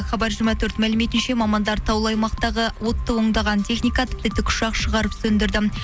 хабар жиырма төрт мәліметінше мамандар таулы аймақтағы отты ондаған техника тіпті тікұшақ шығарып сөндірді